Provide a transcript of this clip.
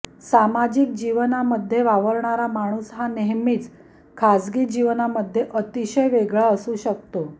सामाजिक जीवनामध्ये वावरणारा माणूस हा नेहमीच खाजगी जीवनामध्ये अतिशय वेगळा असू शकतो